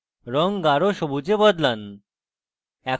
রঙ গাঢ় সবুজে বদলান